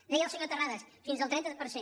deia el senyor terrades fins al trenta per cent